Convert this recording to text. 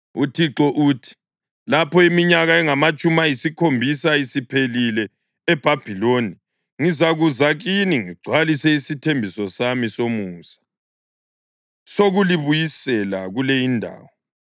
UThixo uthi: “Lapho iminyaka engamatshumi ayisikhombisa isiphelile eBhabhiloni, ngizakuza kini ngigcwalise isithembiso sami somusa sokulibuyisela kule indawo.